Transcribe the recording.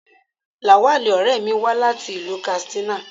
Lawal, ọ̀rẹ́ mi wá láti ìlú Katsina.